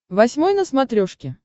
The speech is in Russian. восьмой на смотрешке